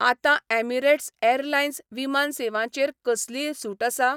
आतां Emirates airlines विमान सेवांचेर कसलीय सूट आसा?